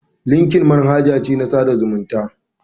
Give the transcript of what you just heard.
Linkeldn manhaja ce na tsada zumuntan aiki.